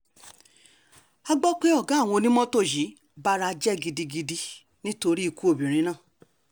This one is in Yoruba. a gbọ́ pé ọ̀gá àwọn onímọ́tò yìí bara jẹ́ gidigidi nítorí ikú obìnrin náà